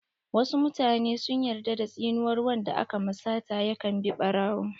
Wasu mutane sun yarda da tsinuwar wanda aka ma sata ya kan bi ɓarawo.